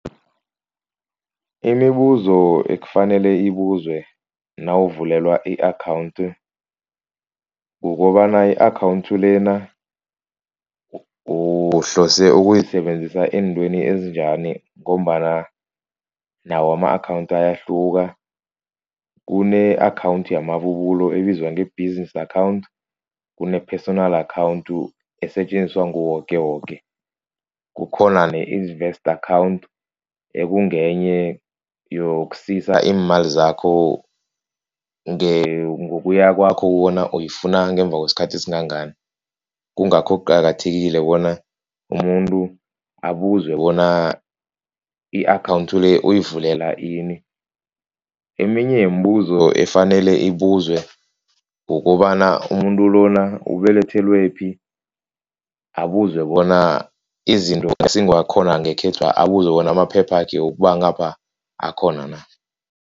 Imibuzo ekufanele ibuzwe nawuvulelwa i-account. Kukobana i-account lena uhlose ukuyisebenzisa eentweni ezinjani. Ngombana nawo ama-account ayahluka kune-account yamabubulo ebizwa ngebhizinisi account, kune-personal account esetjenziswa nguwoke woke. Kukhona ne-investor account ekungenye yokusisa iimali zakho ngokuya kwakho bona uyifuna ngemva kwesikhathi esingangani. Kungakho kuqakathekile bona umuntu abuzwe bona i-account le uyivulela ini. Eminye yeembuzo efanele ibuzwe kukobana umuntu lona ubelethelwephi. Abuzwe bona izinto ezingakhona ngekhethwapha. Abuzwe bona amaphephakhe wokubangapha akhona na.